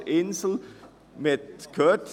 Wir haben es gehört: